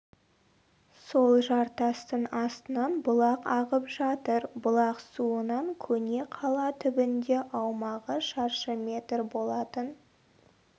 сол жартастың астынан бұлақ ағып жатыр бұлақ суынан көне қала түбінде аумағы шаршы метр болатын